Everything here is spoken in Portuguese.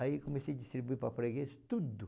Aí comecei a distribuir para freguês, tudo.